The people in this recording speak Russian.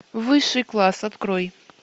высший класс открой